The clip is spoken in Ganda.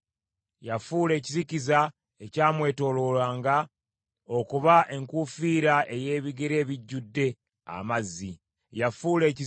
Yafuula ekizikiza ekyamwetooloolanga okuba enkuufiira ey’ebire ebijjudde amazzi.